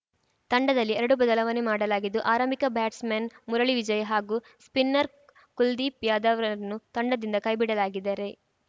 ತಂಡದಲ್ಲಿ ಎರಡು ಬದಲಾವಣೆ ಮಾಡಲಾಗಿದ್ದು ಆರಂಭಿಕ ಬ್ಯಾಟ್ಸ್‌ಮನ್‌ ಮುರಳಿ ವಿಜಯ್‌ ಹಾಗೂ ಸ್ಪಿನ್ನರ್‌ ಕುಲ್ದೀಪ್‌ ಯಾದವ್‌ರನ್ನು ತಂಡದಿಂದ ಕೈಬಿಡಲಾಗಿದರೆ